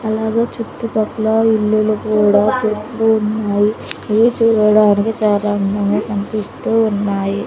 అలాగే చుట్టు పక్కల ఇల్లులు కూడా చెట్లు ఉన్నాయి ఇవి చూడడానికి సాధారణంగా కనిపిస్తూ ఉన్నాయి.